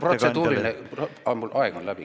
Aeg on läbi.